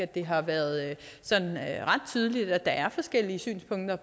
det har været sådan ret tydeligt at der er forskellige synspunkter